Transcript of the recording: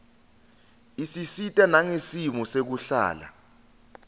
isisita nangesimo sekuhlala